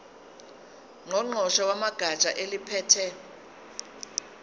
ngqongqoshe wegatsha eliphethe